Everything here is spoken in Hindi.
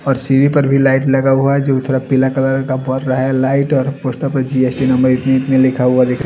पोर सीढ़ी पर भी लाइट लगा हुआ है जो मतलब पीला कलर का पड़ रहा है लाइट और ऊपर तो जी_एस_टी नंबर प्लेट भी लिखा हुआ दिखरा है ।